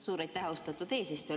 Suur aitäh, austatud eesistuja!